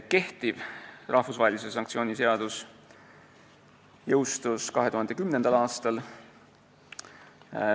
Kehtiv rahvusvahelise sanktsiooni seadus jõustus 2010. aastal.